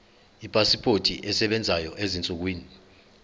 ipasipoti esebenzayo ezinsukwini